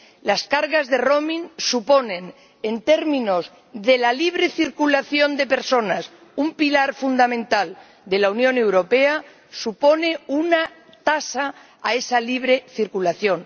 Los costes de roaming en términos de la libre circulación de personas —un pilar fundamental de la Unión Europea—, suponen una tasa a esa libre circulación.